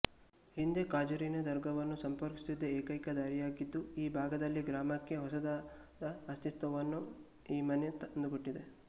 ಹಿಂದೆ ಕಾಜೂರಿನ ದರ್ಗವನ್ನು ಸಂಪರ್ಕಿಸುತ್ತಿದ್ದ ಏಕೈಕ ದಾರಿಯಾಗಿದ್ದು ಈ ಭಾಗದಲ್ಲಿ ಗ್ರಾಮಕ್ಕೆ ಹೊಸದಾದ ಅಸ್ತಿತ್ವವನ್ನು ಈ ಮನೆ ತಂದುಕೊಟ್ಟಿದೆ